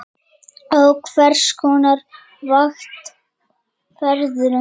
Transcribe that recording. Á hvers konar vakt ferðu?